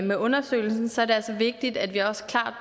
med undersøgelsen så er det altså vigtigt at vi også